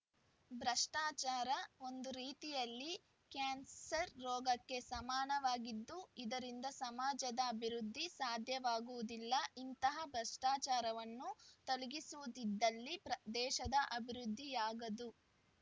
ಭ್ರಷ್ಟಾಚಾರ ಒಂದು ರೀತಿಯಲ್ಲಿ ಕ್ಯಾನ್ಸರ್‌ ರೋಗಕ್ಕೆ ಸಮಾನವಾಗಿದ್ದು ಇದರಿಂದ ಸಮಾಜದ ಅಭಿವೃದ್ಧಿ ಸಾಧ್ಯವಾಗುವುದಿಲ್ಲ ಇಂತಹ ಭ್ರಷ್ಟಾಚಾರವನ್ನು ತೊಲಗಿಸದಿದ್ದಲ್ಲಿ ದೇಶದ ಅಭಿವೃದ್ಧಿಯಾಗದು